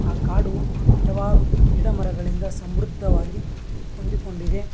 ಆ ಕಾಡು ಹಲವಾರು ಗಿಡ ಮರಗಳಿಂದ ಸಮೃದ್ಧವಾಗಿ ಹೊಂದಿಕೊಂಡಿದೆ.